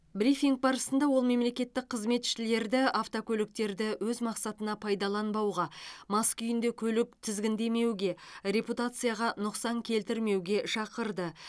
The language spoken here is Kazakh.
брифинг барысында ол мемлекеттік қызметшілерді автокөліктерді өз мақсатына пайдаланбауға мас күйінде көлік тізгіндемеуге репутацияға нұқсан келтірмеуге шақырды